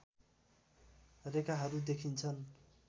रेखाहरू देखिन्छन्